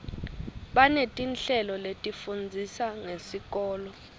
banetinhlelo letifundzisa ngesikolo